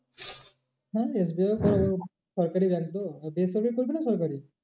হ্যাঁ SBI ও তোর সরকারি bank তো বেসরকারি করবি না সরকারি?